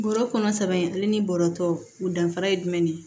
Bɔrɔ kɔnɔ sabanan ale ni bɔrɔtɔ o danfara ye jumɛn de